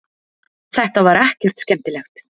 Þetta var ekkert skemmtilegt.